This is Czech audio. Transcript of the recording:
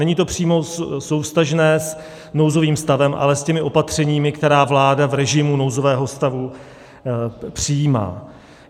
Není to přímo souvztažné s nouzovým stavem, ale s těmi opatřeními, která vláda v režimu nouzového stavu přijímá.